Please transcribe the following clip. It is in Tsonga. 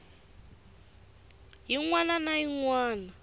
yin wana na yin wana